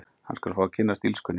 Hann skal fá að kynnast illskunni.